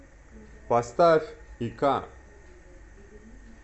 поставь ика